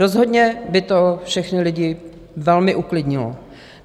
Rozhodně by to všechny lidi velmi uklidnilo.